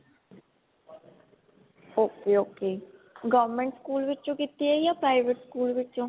ok ok government school ਵਿੱਚੋ ਕੀਤੀ ਹੈ ਜਾ private ਸਕੂਲ ਵਿੱਚੋ